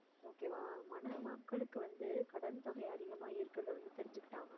okay வா மன~ மக்களுக்கு வந்து கடன் தொகை அதிகமா இருக்கிறத வந்து தெரிஞ்சுக்கிட்டாங்க